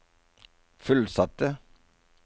fullsatte